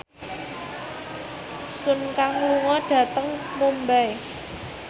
Sun Kang lunga dhateng Mumbai